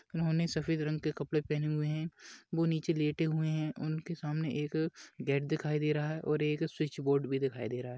उन्हों ने सफेद रंग के कपड़े पहने हुवे है वो नीचे लेटे हुवे है उनके सामने एक गेट दिखाई दे रहा है और एक स्विच बोर्ड भी दिखाई दे रहा है।